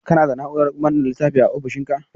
Kana da Na'urar manne littafin a ofishinka?